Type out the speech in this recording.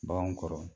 Baganw kɔrɔ